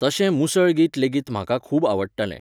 तशें मुसळगीत लेगीत म्हाका खूब आवडटालें.